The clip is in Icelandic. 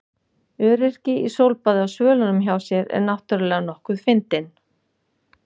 Öryrki í sólbaði á svölunum hjá sér er náttúrlega nokkuð fyndinn.